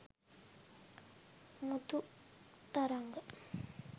muthu tharanga